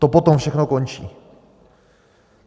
To potom všechno končí.